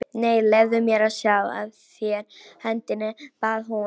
Nei, leyfðu mér að sjá á þér hendina bað hún.